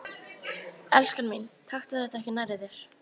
Elskan mín, taktu þetta ekki nærri þér.